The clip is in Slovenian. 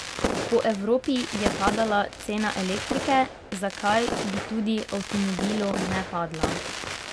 Po Evropi je padala cena elektrike, zakaj bi tudi avtomobilu ne padla?